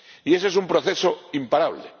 Y ese es un proceso imparable.